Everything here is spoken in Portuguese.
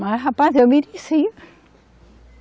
Mas, rapaz, eu mereci.